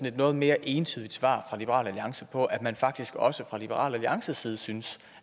et noget mere entydigt svar fra liberal alliance på at man faktisk også fra liberal alliances side synes